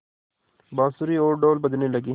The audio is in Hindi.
बाँसुरी और ढ़ोल बजने लगे